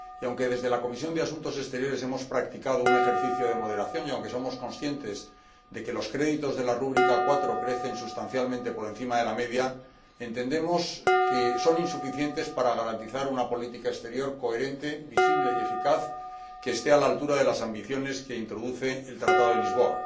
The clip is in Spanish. Y aunque desde la Comisión de Asuntos Exteriores hemos practicado un ejercicio de moderación y somos conscientes de que los créditos de la rúbrica 4 crecen sustancialmente por encima de la media, entendemos que son insuficientes para garantizar una política exterior coherente, visible y eficaz que esté a la altura de las ambiciones que introduce el Tratado de Lisboa.